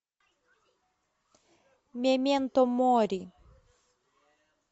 мементо мори